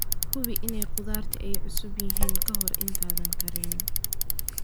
Hubi in khudaartu ay cusub yihiin ka hor intaadan karinin.